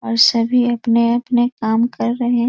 और सभी अपने-अपने काम कर रहे --